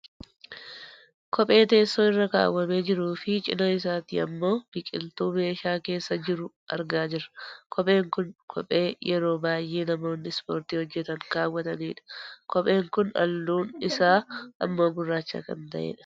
Kophee teessoo irra kaawwamee jiruufi cinaa isaati ammoo biqiltuu meeshaa keessa jiru argaa jirra. Kopheen kun kophee yeroo baayyee namoonni ispoortii hojjatan kaawwatanidha. Kopheen kun halluun isaa ammoo gurraacha kan ta'edha.